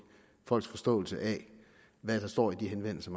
folks forståelse af hvad der står i de henvendelser